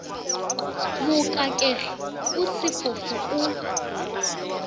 mokakege o se sefofu o